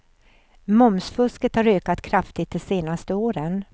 Momsfusket har ökat kraftigt de senaste åren.